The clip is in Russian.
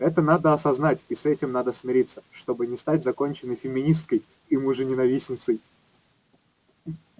это надо осознать и с этим надо смириться чтобы не стать законченной феминисткой и мужененавистницей